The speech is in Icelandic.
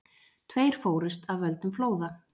Tveir fórust af völdum flóða